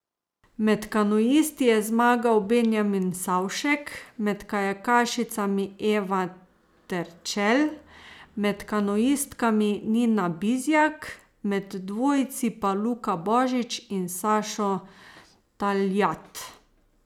Med kanuisti je zmagal Benjamin Savšek, med kajakašicami Eva Terčelj, med kanuistkami Nina Bizjak, med dvojci pa Luka Božič in Sašo Taljat.